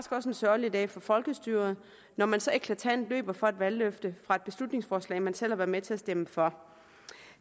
også en sørgelig dag for folkestyret når man så eklatant løber fra et valgløfte og fra et beslutningsforslag man selv har været med til at stemme for